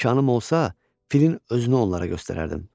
İmkanım olsa, filin özünü onlara göstərərdim.